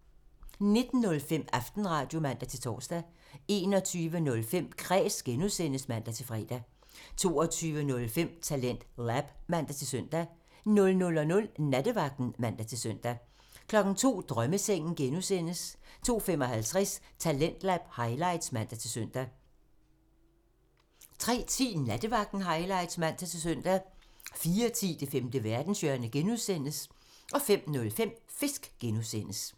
19:05: Aftenradio (man-tor) 21:05: Kræs (G) (man-fre) 22:05: TalentLab (man-søn) 00:00: Nattevagten (man-søn) 02:00: Drømmesengen (G) (man) 02:55: Talentlab highlights (man-søn) 03:10: Nattevagten highlights (man-søn) 04:10: Det femte verdenshjørne (G) (man) 05:05: Fisk (G) (man)